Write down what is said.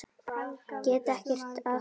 Get ekkert að því gert.